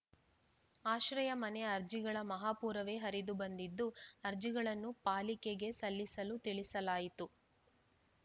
ಆಶ್ರಯ ಮನೆ ಅರ್ಜಿಗಳ ಮಹಾಪೂರವೇ ಹರಿದು ಬಂದಿದ್ದು ಅರ್ಜಿಗಳನ್ನು ಪಾಲಿಕೆಗೆ ಸಲ್ಲಿಸಲು ತಿಳಿಸಲಾಯಿತು